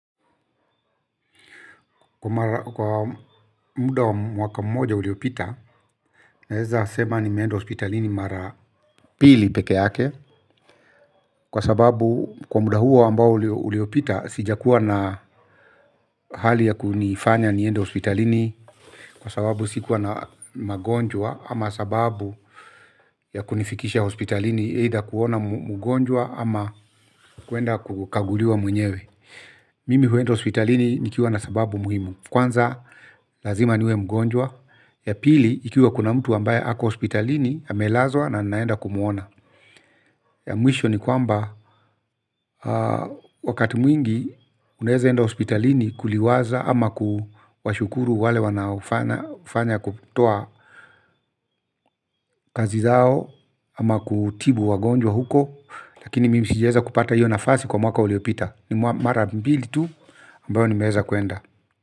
Kwa muda wa mwaka mmoja uliopita, naeza sema nimeenda hospitalini mara mbili peke yake. Kwa sababu kwa muda huo ambao uliopita, sijakuwa na hali ya kunifanya niende hospitalini. Kwa sababu sikuwa na magonjwa ama sababu ya kunifikisha hospitalini either kuona mgonjwa ama kuenda kukaguliwa mwenyewe. Mimi huenda hospitalini nikiwa na sababu muhimu. Kwanza lazima niwe mgonjwa. Ya pili ikiwa kuna mtu ambaye ako hospitalini amelazwa na naenda kumwona. Ya mwisho ni kwamba wakati mwingi unaeza enda hospitalini. Kuliwaza ama kuwashukuru wale wanaofanya kutoa kazi zao ama kutibu wagonjwa huko. Lakini mimi sijaeza kupata hiyo nafasi kwa mwaka uliopita. Ni mara mbili tu ambayo nimeeza kuenda.